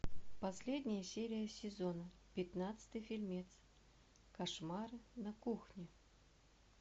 последняя серия сезона пятнадцатый фильмец кошмары на кухне